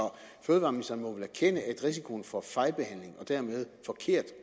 fødevareministeren må vel erkende at risikoen for fejlbehandling og dermed forkert